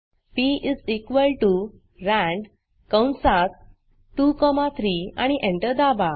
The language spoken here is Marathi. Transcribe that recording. पी रांद कंसात 2 कॉमा 3 आणि एंटर दाबा